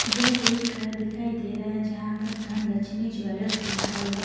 यह एक घर दिखाई दे रहा है यहां पर धन लक्ष्मी ज्वेलर्स लिखा हुआ--